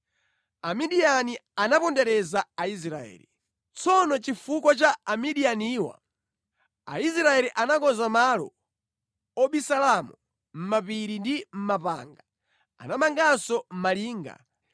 Amidiyani anapondereza Aisraeli. Tsono chifukwa cha Amidiyaniwa, Aisraeli anakonza malo obisalamo mʼmapiri ndi mʼmapanga. Anamanganso malinga.